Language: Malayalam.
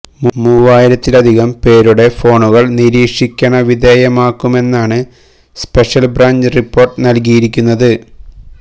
മൂവായിരത്തിലധികം പേരുടെ ഫോണുകള് നിരീക്ഷിക്കണ വിധേയമാക്കുമെന്നാണ് സ്പെഷ്യല് ബ്രാഞ്ച് റിപ്പോര്ട്ട് നല്കിയിരിയിരുന്നത്